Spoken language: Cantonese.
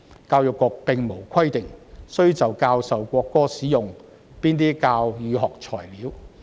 教育局並無規定須就教授國歌使用哪些教與學材料。